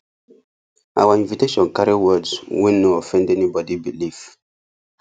our invitation carry words wey no offend anybody belief